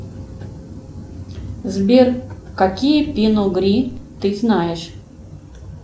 сбер какие пино гри ты знаешь